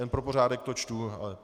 Jen pro pořádek to čtu.